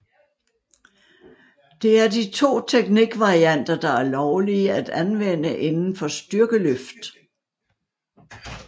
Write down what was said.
Det er de to teknikvarianter der er lovlige at anvende inden for styrkeløft